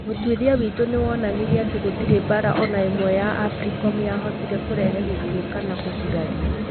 Ũtuĩria witũ nĩ wonanirie atĩ gũtirĩ mbaara o na ĩmwe ya AFRICOM yahotire kũrehe gĩkuũ kana kũgurario.